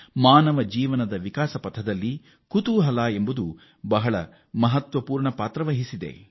ಮಾನವ ಬದುಕಿನಲ್ಲಿ ಮತ್ತು ಅಭಿವೃದ್ಧಿಯಲ್ಲಿ ಕುತೂಹಲ ಎಂಬುದು ಮಹತ್ವಪೂರ್ಣ ಪಾತ್ರ ವಹಿಸುತ್ತದೆ